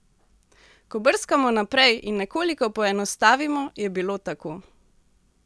Ko brskamo naprej in nekoliko poenostavimo, je bilo tako.